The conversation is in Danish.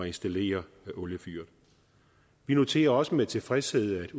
installere oliefyret vi noterer også med tilfredshed at